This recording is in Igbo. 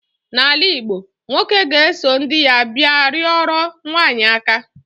n'ala Igbo, nwoke ga-eso ndi ya bia rioro nwanyi aka